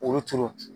Olu tolo